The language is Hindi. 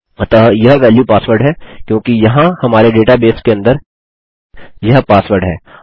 अतः यह वेल्यू पासवर्ड है क्योंकि यहाँ हमारे डेटा बेस के अंदर यह पासवर्ड है